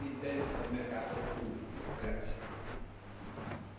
Non possiamo più accettare che ciò avvenga anche all'interno del mercato unico.